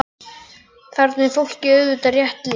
Þarna er fólki auðvitað rétt lýst.